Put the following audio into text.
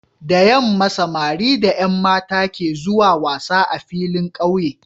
Da yamma samari da Yan mata ke zuwa wasa a filin ƙauye